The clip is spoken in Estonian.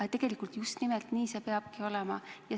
Aga tegelikult just nimelt nii see peabki olema.